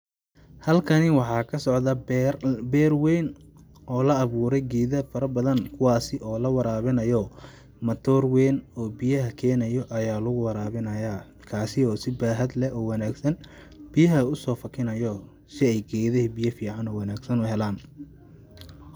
Halkani waxaa ka socda beer ,beer weyn oo lagu awuure geeda fara badan kuwaasi oo la waraabinayo ,matoor weyn oo biyaha keenayao ayaa lagu waraabinayaa ,kaasi oo si baahad leh oo wanaagsan biyaha usoo fakinayo si ay geedaha biya fiican oo wanaagsan u helaan .